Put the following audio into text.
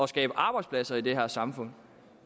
skabe arbejdspladser i det her samfund